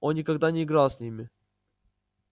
он никогда не играл с ними